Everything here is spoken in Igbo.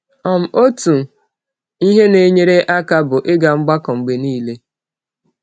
um Otu ihe na-enyere aka bụ ịga mgbakọ mgbe niile.